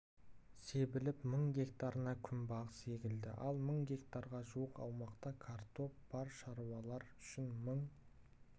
себіліп мың гектарына күнбағыс егілді ал мың гектарға жуық аумақта картоп бар шаруалар үшін мың